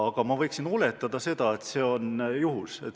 Aga ma võin oletada, et see on juhus.